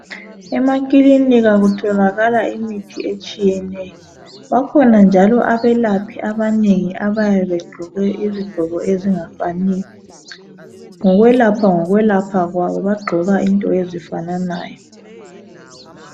Emakilinika kutholakala imithi etshiyeneyo bakhona njalo ebelaphi abanengi ebabe begqoke izigqoko ezingafaniyo ngokwelapha ngokwelapha kwabo bagqoka into ezifananayo.